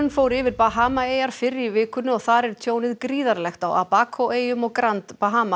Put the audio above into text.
fór yfir Bahamaeyjar fyrr í vikunni og þar er tjónið gríðarlegt á eyjum og grand